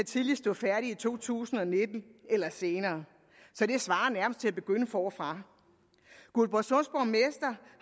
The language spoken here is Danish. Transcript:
tidligst stå færdig i to tusind og nitten eller senere så det svarer nærmest til at begynde forfra guldborgsunds borgmester